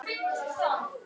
Þarna fæddist ný von.